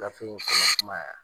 Gafe in kɔnɔ kuma